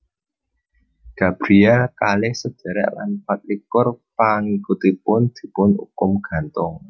Gabriel kalih sedhèrèk lan patlikur pangikutipun dipun ukum gantung